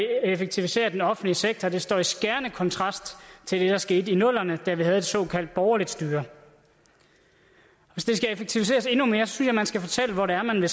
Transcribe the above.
effektivisere den offentlige sektor og det står i skærende kontrast til det der skete i nullerne da vi havde et såkaldt borgerligt styre hvis det skal effektiviseres endnu mere synes jeg man skal fortælle hvor det er man vil